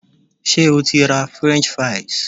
Ṣé o ti ra French fries?